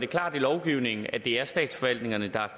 klart i lovgivningen at det er statsforvaltningen der